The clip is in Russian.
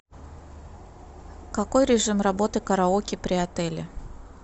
какой режим работы караоке при отеле